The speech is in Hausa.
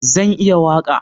Zan iya waƙa